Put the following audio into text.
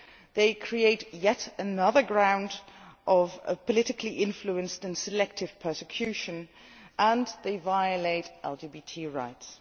They create yet another ground for politically influenced and selective persecution and they violate LGBT rights.